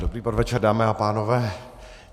Dobrý podvečer, dámy a pánové.